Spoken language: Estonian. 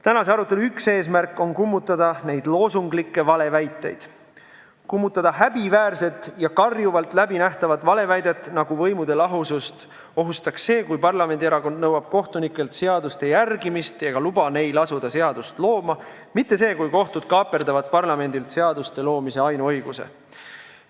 Tänase arutelu üks eesmärke on kummutada neid loosunglikke valeväiteid, kummutada häbiväärset ja karjuvalt läbinähtavat valeväidet, nagu võimude lahusust ohustaks see, kui parlamendierakond nõuab kohtunikelt seaduste järgimist ega luba neil asuda seadust looma, mitte see, kui kohtud kaaperdavad parlamendilt seaduste loomise ainuõiguse.